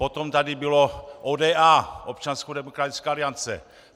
Potom tady byla ODA, Občanská demokratická aliance.